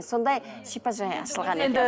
сондай шипажай ашылған екен